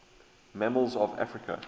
mammals of africa